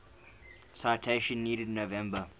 citation needed november